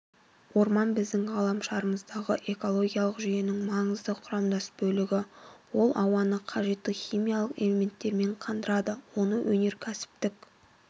орман біздің ғаламшарымыздағы экологиялық жүйенің маңызды құрамдас бөлігі ол ауаны қажетті химиялық элементтермен қандырады оны өнеркәсіптік